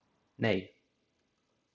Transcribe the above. Nei